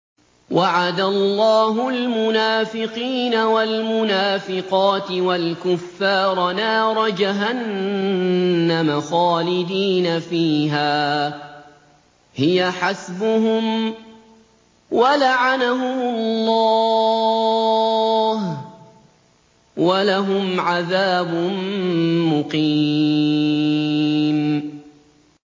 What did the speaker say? وَعَدَ اللَّهُ الْمُنَافِقِينَ وَالْمُنَافِقَاتِ وَالْكُفَّارَ نَارَ جَهَنَّمَ خَالِدِينَ فِيهَا ۚ هِيَ حَسْبُهُمْ ۚ وَلَعَنَهُمُ اللَّهُ ۖ وَلَهُمْ عَذَابٌ مُّقِيمٌ